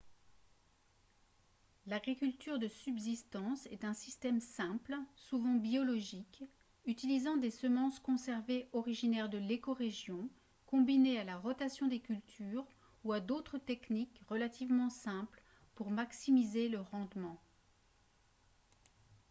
l'agriculture de subsistance est un système simple souvent biologique utilisant des semences conservées originaires de l'écorégion combinées à la rotation des cultures ou à d'autres techniques relativement simples pour maximiser le rendement